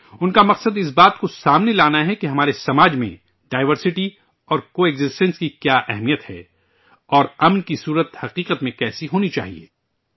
ان کا مقصد اس بات کو سامنے لانا ہے کہ ہمارے سماج میں ڈائیورسٹی اور کو ایکزیسٹنس کی کیا اہمیت ہے اور امن کی شکل حقیقت میں کیسی ہونی چاہئے